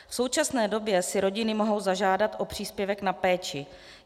V současné době si rodiny mohou zažádat o příspěvek na péči.